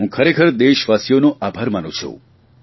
હું ખરેખર દેશવાસીઓનો આભાર માનું છું